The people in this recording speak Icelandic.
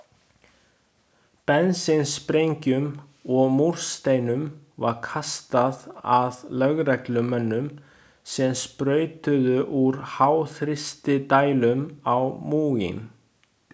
Bensínsprengjum og múrsteinum var kastað að lögreglumönnum sem sprautuðu úr háþrýstidælum á múginn.